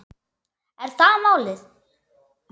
Er það málið?